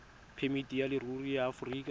phemiti ya leruri ya aforika